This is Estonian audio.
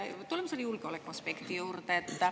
Tuleme selle julgeolekuaspekti juurde.